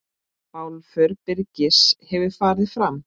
Bálför Birgis hefur farið fram.